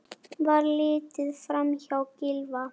Var litið framhjá Gylfa?